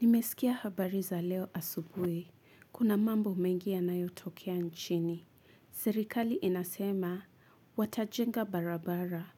Nimesikia habari za leo asubui, kuna mambo mengia yanayotokea nchini. Sirikali inasema, watajenga barabara,